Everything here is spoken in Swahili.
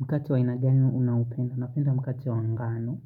Mkate wa aina gani unaupenda, napenda mkate wa ngano,